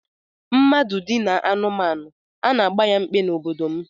Mmadụ dinaa anụmanụ, a na-agba ya mkpe n'obodo m